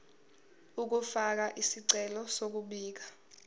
ukufaka isicelo sokubika